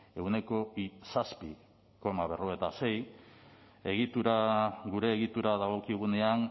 ehuneko zazpi koma berrogeita sei egitura gure egitura dagokigunean